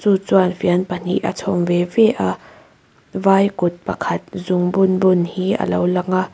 chu chuan fian pahnih a chhawm ve ve a vai kut pakhat zungbun bun hi alo lang a.